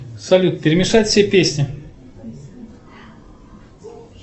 салют перемешать все песни